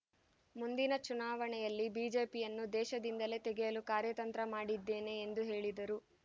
ಮುಂದಿನ ಚುನಾವಣೆಯಲ್ಲಿ ಬಿಜೆಪಿಯನ್ನು ದೇಶದಿಂದಲೇ ತೆಗೆಯಲು ಕಾರ್ಯತಂತ್ರ ಮಾಡಿದ್ದೇವೆ ಎಂದು ಹೇಳಿದರು